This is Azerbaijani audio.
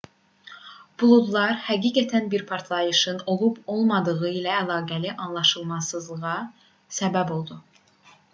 buludlar həqiqətən də bir partlayışın olub-olmadığı ilə əlaqəli anlaşılmazlığa səbəb oldu